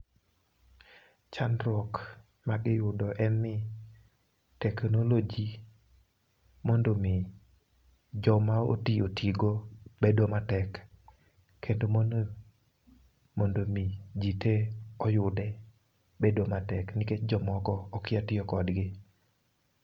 Chandruok magiyudo en ni teknoloji mondo mi joma otii otigo bedo matek kendo mondo jii tee oyude bedo matek nikech jomoko okia tiyo kodgi